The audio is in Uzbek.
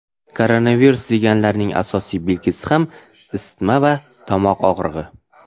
Koronavirus deganlarining asosiy belgisi ham isitma va tomoq og‘rig‘i.